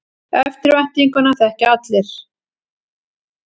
Eftirvæntinguna þekkja allir.